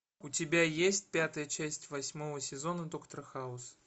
у тебя есть пятая часть восьмого сезона доктор хаус